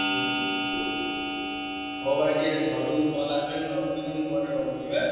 ହୁଁ ହଉ ଭାଇ ଟିକେ ଘରୁ call ଆସିଲାଣି ମୁଁ ରଖୁଛି ତମୁକୁ ପରେ call କରିବି ଏ?